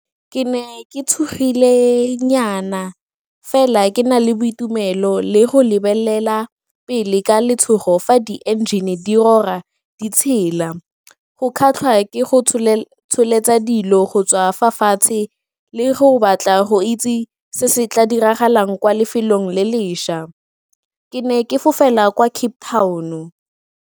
Ke ne ke tshogilenyana fela ke na le boitumelo le go lebelela pele ka letshogo fa di-engine di rora, di tshela, go kgatlha ke go tsholetsa dilo go tswa fa fatshe le go batla go itse se se tla diragalang kwa lefelong le lešwa, ke ne ke fofela kwa Cape Town-o.